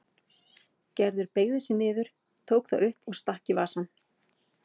Gerður beygði sig niður, tók það upp og stakk í vasann.